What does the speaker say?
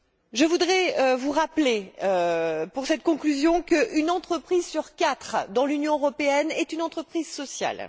Je voudrais vous rappeler, dans cette conclusion, qu'une entreprise sur quatre dans l'Union européenne est une entreprise sociale.